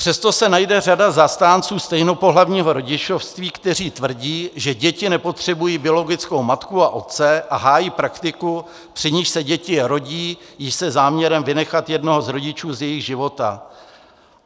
Přesto se najde řada zastánců stejnopohlavního rodičovství, kteří tvrdí, že děti nepotřebují biologickou matku a otce, a hájí praktiku, při níž se děti rodí již se záměrem vynechat jednoho z rodičů z jejich života.